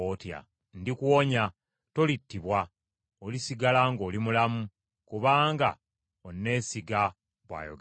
Ndikuwonya; tolittibwa, olisigala ng’oli mulamu, kubanga onneesiga, bw’ayogera Mukama .’”